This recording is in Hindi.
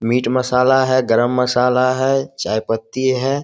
मिट मसाला है गरम मसाला है चाय पत्ती है।